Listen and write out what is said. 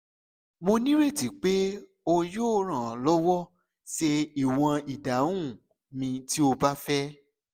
mo nireti pe o yoo ran ọ lọwọ ṣe iwọn idahun mi ti o ba fẹ